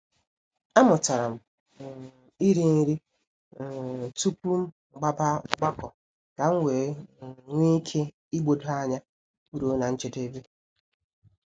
A mụtara m um ịrị nri um tupu m gbaba ọgbakọ kam wee um nwee ike igbodo anya ruo na njedebe.